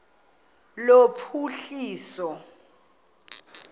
lophuhliso